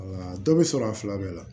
Wala dɔ bɛ sɔrɔ a fila bɛɛ la